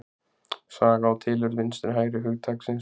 Saga og tilurð vinstri-hægri hugtaksins